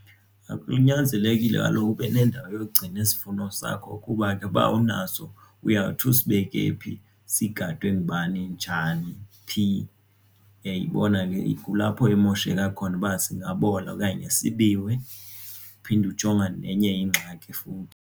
Kunyanzelekile kaloku ube nendawo yokugcina isivuno sakho kuba ke uba awunaso uyawuthi usibeke phi sigadwe ngubani njani phi, uyayibona ke kulapho imosheka khona uba singabola okanye sibiwe uphinde ujongane nenye ingxaki futhi.